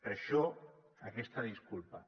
per això aquesta disculpa